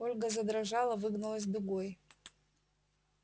ольга задрожала выгнулась дугой